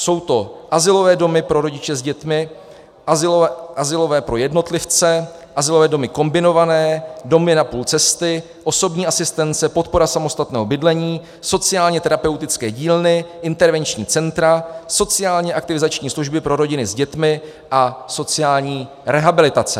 Jsou to azylové domy pro rodiče s dětmi, azylové pro jednotlivce, azylové domy kombinované, domy na půl cesty, osobní asistence, podpora samostatného bydlení, sociálně terapeutické dílny, intervenční centra, sociálně aktivizační služby pro rodiny s dětmi a sociální rehabilitace.